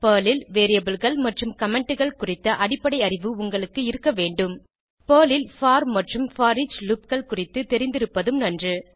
Perl ல் Variableகள் மற்றும் Commentகள் குறித்த அடிப்படை அறிவு உங்களுக்கு இருக்க வேண்டும் பெர்ல் ல் போர் மற்றும் போரிச் loopகள் குறித்து தெரிந்திருப்பதும் நன்று